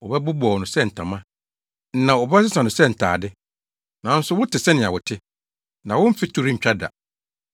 Wɔbɛbobɔw no sɛ ntama; na wɔbɛsesa no sɛ ntade. Nanso wote sɛnea wote, na wo mfe to rentwa da.”